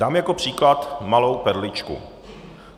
Dám jako příklad malou perličku.